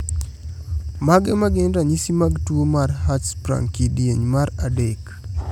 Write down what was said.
Mage magin ranyisi mag tuo mar Hirschsprung kidieny mar adek?